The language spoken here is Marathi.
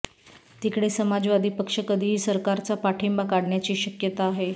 तिकडे समाजवादी पक्ष कधीही सरकारचा पाठिंबा काढण्याची शक्यता आहे